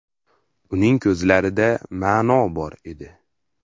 Uning ko‘zlarida ma’no bor”, dedi.